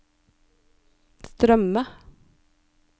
strømme